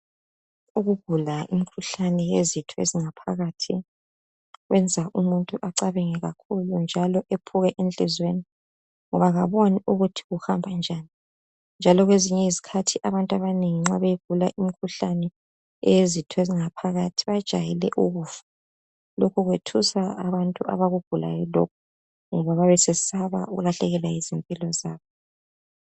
Ukugula imikhuhlane yezitho ezingaphakathi kwenza umuntu acabange kakhulu njalo ephuke enhlizweni ngoba kaboni ukuthi kuhamba njani njalo kwezinye izikhathi abantu nxa beyigula imikhuhlane eyezitho ezingaphakathi bajayele ukufa. Lokhu kwethusa abantu abakugulayo lokhu ngoba bayabe besesaba ukulahlekelwa zimpilo zabo.